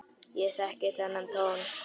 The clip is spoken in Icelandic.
Ég þekki þennan tón.